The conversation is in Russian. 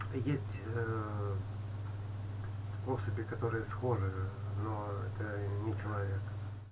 есть особи которые схожи но это не человек